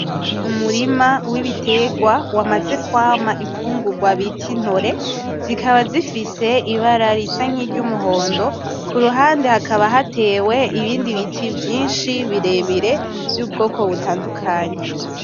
Umurima w'ibitegwa wamaze kwama imfungurwa bita intore, zikaba zifise ibara risa nkiry'umuhondo , kuruhande hakaba hatewe ibindi biti vyinshi birebire vy'ubwoko butandukanye.